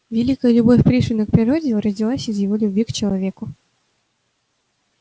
великая любовь пришвина к природе родилась из его любви к человеку